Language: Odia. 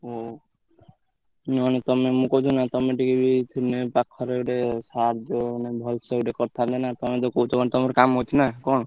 ହଉ ନହେଲେ ତମେ ମୁ କିଆହୁଥିଲି ନା ତମେ ଟିକେ ପାଖରେ ଗୋଟେ ସାହାଜ୍ୟ ମାନେ ଭଲସେ ଗୋଟେ କରିଥାନ୍ତେ ନା ତମେ ତ କହୁଛ କଣ ତମର କାମ ଅଛି ନା କଣ?